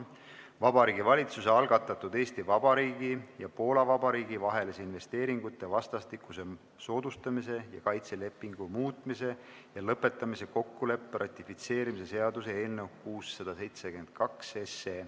Vabariigi Valitsuse algatatud Eesti Vabariigi ja Poola Vabariigi vahelise investeeringute vastastikuse soodustamise ja kaitse lepingu muutmise ja lõpetamise kokkuleppe ratifitseerimise seaduse eelnõu 672.